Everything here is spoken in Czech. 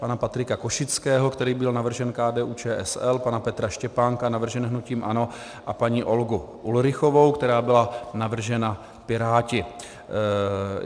Pana Patrika Košického, který byl navržen KDU-ČSL, pana Petra Štěpánka, navrženého hnutím ANO, a paní Olgu Ulrichovou, která byla navržena Piráty.